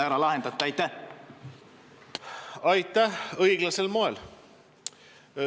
Me lahendame selle õiglasel moel.